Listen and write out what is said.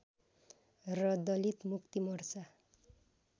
र दलित मुक्तिमोर्चा